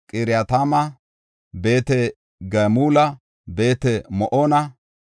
Qiratayma, Beet-Gamula, Beet-Ma7oona,